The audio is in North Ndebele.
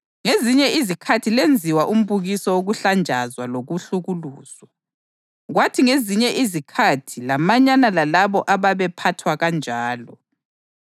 Ngoba thina siyamazi lowo owathi, “Ukuphindisela ngokwami; ngizabuyisela,” + 10.30 UDutheronomi 32.35 njalo wathi, “INkosi izakwahlulela abantu bayo.” + 10.30 UDutheronomi 32.36; AmaHubo 135.14